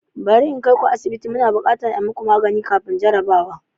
Bari in kai ku asibiti, muna buƙatar a yi muku magani kafin jarrabawa.